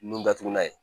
Nun datugulan ye